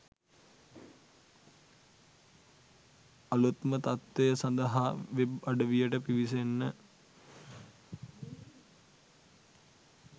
අලුත්ම තත්ත්තවය සඳහා වෙබ් අඩවියට පිවිසෙන්න